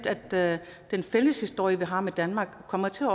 at den fælles historie vi har med danmark kommer til